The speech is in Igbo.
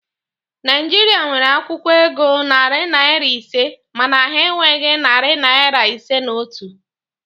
Naịjirịa nwere akwụkwọ ego narị naịra ise mana ha enweghi narị naịra ise na otu